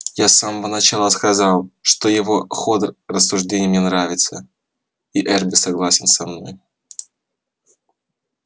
я с самого начала сказал что его ход рассуждений мне нравится и эрби согласен со мной